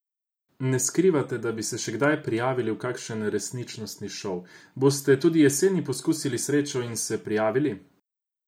Ne skrivate, da bi se še kdaj prijavili v kakšen resničnostni šov, boste tudi jeseni poskusili srečo in se prijavili?